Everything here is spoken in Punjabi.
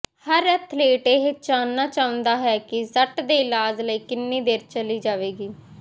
ਹਰ ਅਥਲੀਟ ਇਹ ਜਾਣਨਾ ਚਾਹੁੰਦਾ ਹੈ ਕਿ ਸੱਟ ਦੇ ਇਲਾਜ ਲਈ ਕਿੰਨੀ ਦੇਰ ਚਲੀ ਜਾਵੇਗੀ